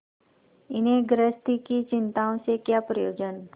इन्हें गृहस्थी की चिंताओं से क्या प्रयोजन